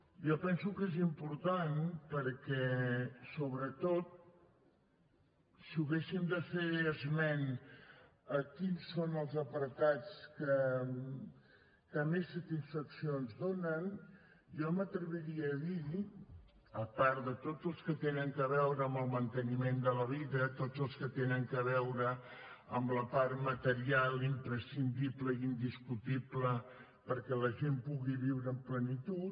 jo penso que és important perquè sobretot si haguéssim de fer esment de quins són els apartats que més satisfacció ens donen jo m’atreviria a dir a part de tots els que tenen a veure amb el manteniment de la vida tots els que tenen a veure amb la part material imprescindible i indiscutible perquè la gent pugui viure amb plenitud